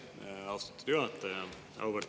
Aitäh, austatud juhataja!